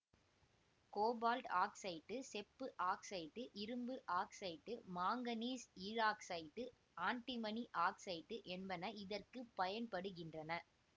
cobalt oxide செப்பு oxide இரும்பு oxide manganese ஈராக்சைட்டு ஆன்டிமனி ஆக்சைட்டு என்பன இதற்கு பயன்படுகின்றன